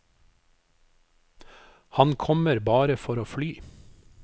Han kommer bare for å fly.